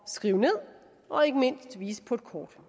skrive ned og ikke mindst vise på et kort